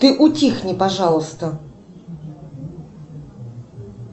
ты утихни пожалуйста